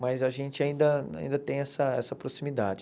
Mas a gente ainda ainda tem essa essa proximidade.